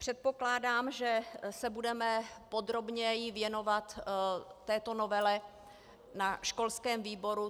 Předpokládám, že se budeme podrobněji věnovat této novele na školském výboru.